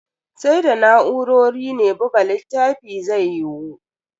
Sai da na'urori ne buga littafi zai yiwu.